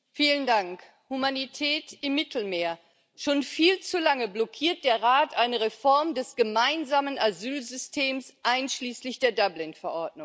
Herr Präsident! Humanität im Mittelmeer. Schon viel zu lange blockiert der Rat eine Reform des gemeinsamen Asylsystems einschließlich der Dublin Verordnung.